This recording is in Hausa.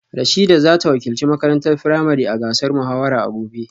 Rashidat za ta wakilci makarantar firamare a gasar muhawara a gobe